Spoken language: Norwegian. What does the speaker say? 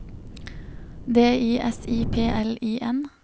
D I S I P L I N